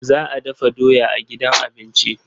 Za a dafa doya a gidan abinci.